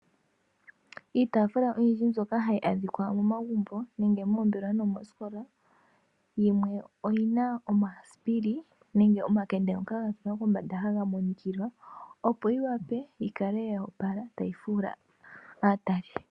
Iitaafula oyindji mbyoka hayi adhika momagumbo nenge moombelewa no moosikola , yimwe oyina omasipiili nenge omakende ngoka ga tulwa pombanda haga monikilwa opo yi wape yi kale ya opala tayi fuula aatali.